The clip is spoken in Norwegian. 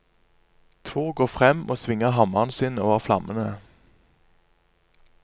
Tor går frem og svinger hammeren sin over flammene.